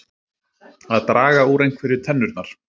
Að draga úr einhverju tennurnar